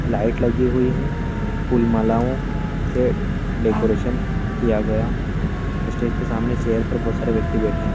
Light लगी हुई है फूल मालाओ से डेकोरेशन किया गया है स्टेज के सामने चैयर पर बहोत सारे व्यक्ति बैठे है।